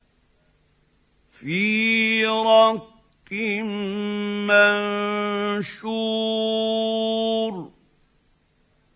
فِي رَقٍّ مَّنشُورٍ